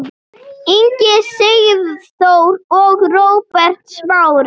Ingi Sigþór og Róbert Smári.